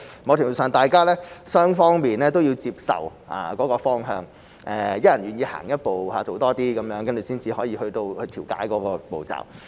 某程度上，雙方都要接受那個方向，一人願意走一步，多做一些，才能去到調解的步驟。